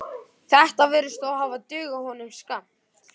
Þetta virðist þó hafa dugað honum skammt.